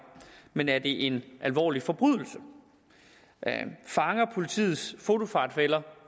men er det en alvorlig forbrydelse fanger politiets fotofartfælder